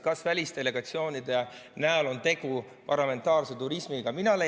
Kas välisdelegatsioonide näol on tegu parlamentaarse turismiga?